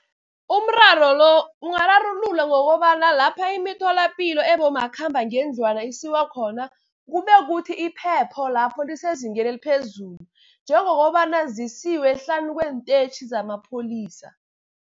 Umraro lo ungararululwa ngokobana lapha emitholapilo ebomakhambangendlwana isiwa khona kube kukuthi iphepho lapho lisezingeni eliphezulu, njengokobana zisiwe hlanu kwenteyitjhi zamapholisa.